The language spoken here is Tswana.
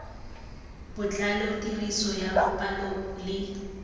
botlalo tiriso ya dipalo le